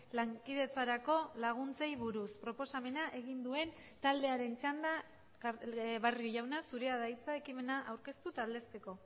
lankidetzarako laguntzei buruz proposamena egin duen taldearen txanda barrio jauna zurea da hitza ekimena aurkeztu eta aldezteko